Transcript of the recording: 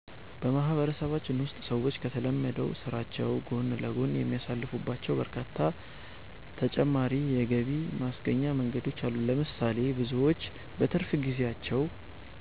በማህበረሰባችን ውስጥ ሰዎች ከተለመደው ስራቸው ጎን ለጎን የሚሳተፉባቸው በርካታ ተጨማሪ የገቢ ማስገኛ መንገዶች አሉ። ለምሳሌ፣ ብዙዎች በትርፍ ጊዜያቸው